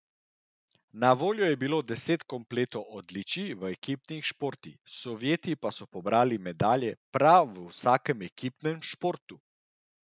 Na voljo je bilo deset kompletov odličij v ekipnih športih, Sovjeti pa so pobrali medalje prav v vsakem ekipnem športu!